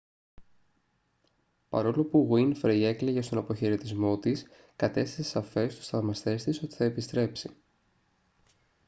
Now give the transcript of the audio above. παρόλο που γουίνφρεϊ έκλαιγε στον αποχαιρετισμό της κατέστησε σαφές τους θαυμαστές της ότι θα επιστρέψει